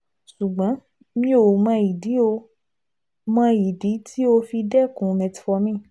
ṣùgbọ́n mi ò mọ ìdí ò mọ ìdí tó o fi dẹ́kun metformin